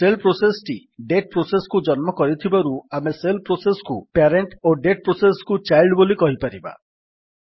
shell process ଟି date process କୁ ଜନ୍ମ କରିଥିବାରୁ ଆମେ ଶେଲ୍ ପ୍ରୋସେସ୍ କୁ ପ୍ୟାରେଣ୍ଟ୍ ଓ ଡେଟ୍ ପ୍ରୋସେସ୍ କୁ ଚାଇଲ୍ଡ୍ ବୋଲି କହିପାରିବା